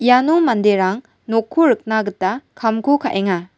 iano manderang nokko rikna gita kamko kaenga.